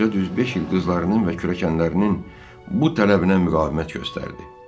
Qoca düz beş il qızlarının və kürəkənlərinin bu tələbinə müqavimət göstərdi.